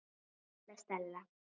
Svo litla Stella.